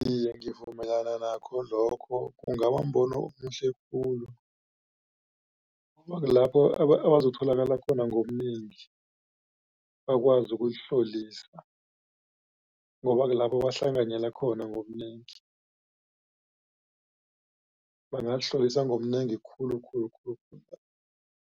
Iye, ngivumelana nakho lokho kungabambono omuhle khulu ngoba kulapho abazokutholakala khona ngobunengi bakwazi ukuzihlolisa. Ngoba kulapho bahlanganyela khona ngobunengi bangazihlolisa ngobunengi khulukhulu